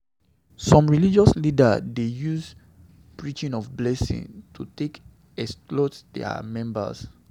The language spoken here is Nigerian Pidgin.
Some religious leaders dey use di preaching of blessing to to take exploit their members